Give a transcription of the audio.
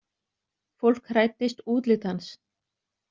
Fólk hræddist útlit hans.